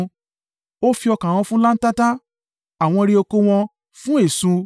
Ó fi ọkà wọn fún láńtata, àwọn ìre oko wọn fún eṣú.